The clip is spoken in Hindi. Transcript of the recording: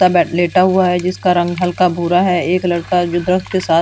लेटा हुआ है जिसका रंग हल्का भूरा है। एक लड़का जो दर्द के साथ--